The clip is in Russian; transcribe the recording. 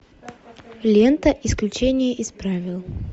лента исключение из правил